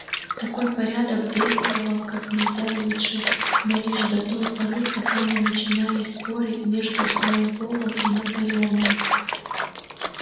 такой порядок действовал как нельзя лучше но лишь до той поры пока не начинались споры между сноуболлом и наполеоном